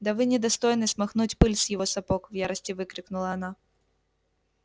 да вы не достойны смахнуть пыль с его сапог в ярости выкрикнула она